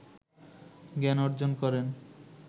জ্ঞান অর্জন করেন